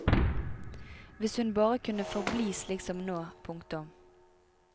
Hvis hun bare kunne forbli slik som nå. punktum